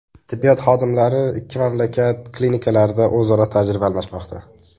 Tibbiyot xodimlari ikki mamlakat klinikalarida o‘zaro tajriba almashmoqda.